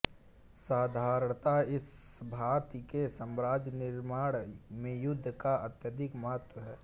साधारणतः इस भांति के साम्राज्य निर्माण में युद्ध का अत्यधिक महत्व है